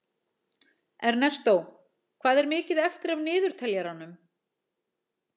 Ernestó, hvað er mikið eftir af niðurteljaranum?